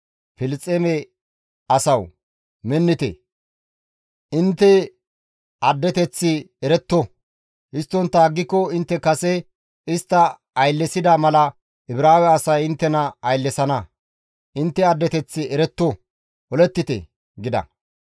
Filisxeeme asawu, minnite! Intte addeteththi eretto! Histtontta aggiko intte kase istta ayllesida mala Ibraawe asay inttena ayllesana; intte addeteththi eretto, olettite!» gida.